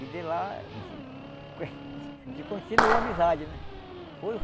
E de lá a gente continuou a amizade, né? Foi